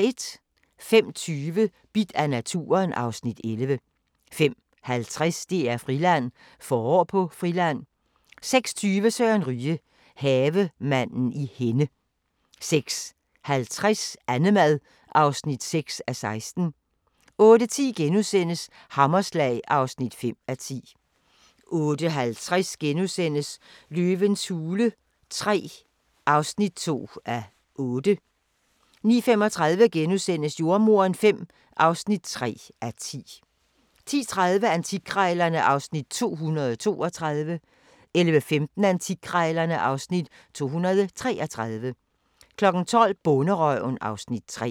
05:20: Bidt af naturen (Afs. 11) 05:50: DR-Friland: Forår på Friland 06:20: Søren Ryge – Havemanden i Henne 06:50: Annemad (6:16) 08:10: Hammerslag (5:10)* 08:50: Løvens hule III (2:8)* 09:35: Jordemoderen V (3:10)* 10:30: Antikkrejlerne (Afs. 232) 11:15: Antikkrejlerne (Afs. 233) 12:00: Bonderøven (Afs. 3)